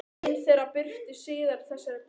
Ein þeirra birtist síðar í þessari bók.